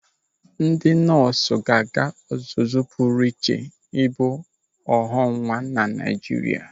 Ndị nọọsụ ga-aga ọzụzụ pụrụ iche ibu ọghọnwa na Naịjirịa.